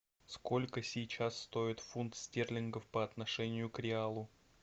сколько сейчас стоит фунт стерлингов по отношению к реалу